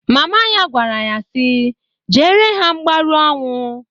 Mama ya gwara ya nnya si, "Jeere ha mgbaru ọnwụ!"